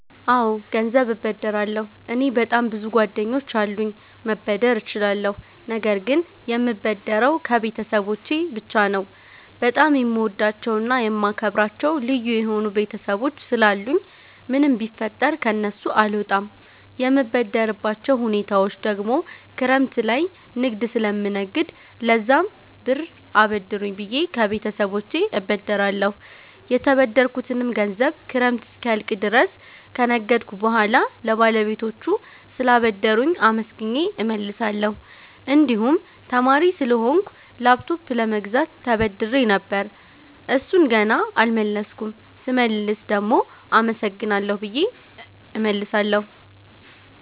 አወ ገንዘብ እበደራለሁ። እኔ በጣም ብዙ ጓደኞች አሉኝ መበደር እችላለሁ ነገር ግን የምበደረው ከቤተሰቦቸ ብቻ ነው። በጣም የምወዳቸውና የማከብራቸው ልዩ የሆኑ ቤተሰቦች ስላሉኝ ምንም ቢፈጠር ከነሱ አልወጣም። የምበደርባቸው ሁኔታወች ደግሞ ክረምት ላይ ንግድ ስለምነግድ ለዛም ብር አበድሩኝ ብየ ከቤተሰቦቸ እበደራለሁ። የተበደርኩትንም ገንዘብ ክረምት እስኪያልቅ ድረስ ከነገድኩ በሁዋላ ለባለቤቶቹ ስላበደሩኝ አመስግኘ እመልሳለሁ። እንድሁም ተማሪ ስለሆንኩ ላፕቶፕ ለመግዛት ተበድሬ ነበር እሡን ገና አልመለስኩም ስመልስ ደግሞ አመሰግናለሁ ብየ እመልሳለሁ።